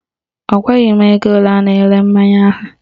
Ọ gwaghị m ego ole a na-ere mmanya ha